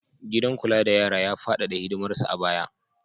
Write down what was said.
Gidan kula da yara ya faɗaɗa hidimarsa a baya